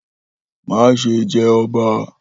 Maṣe jẹ ọba!